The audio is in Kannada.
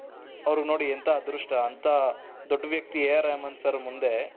ಅವರಿಗೆ ನೋಡಿ ಎಂಥ ಅದೃಷ್ಟ ಅಂತ ದೊಡ್ಡ ವ್ಯಕ್ತಿ AR ರೆಹಮಾನ್ ಸರ್ ಮುಂದೆ